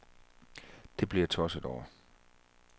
Det blev jeg tosset over.